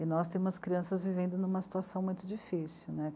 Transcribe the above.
E nós temos crianças vivendo numa situação muito difícil, né?